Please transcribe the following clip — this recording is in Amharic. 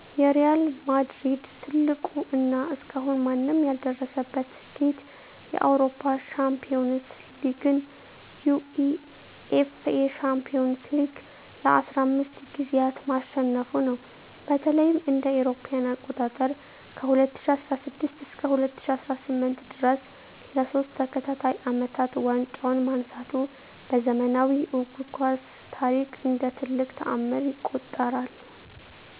የሪያል ማድሪድ ትልቁ እና እስካሁን ማንም ያልደረሰበት ስኬት የአውሮፓ ሻምፒዮንስ ሊግን (UEFA Champions League) ለ15 ጊዜያት ማሸነፉ ነው። በተለይም እ.ኤ.አ. ከ2016 እስከ 2018 ድረስ ለሶስት ተከታታይ አመታት ዋንጫውን ማንሳቱ በዘመናዊው እግር ኳስ ታሪክ እንደ ትልቅ ተአምር ይቆጠራል።